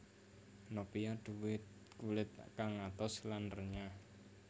Nopia duwè kulit kang atos lan renyah